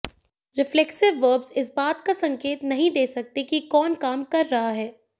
reflexive verbs इस बात का संकेत नहीं दे सकते कि कौन काम कर रहा है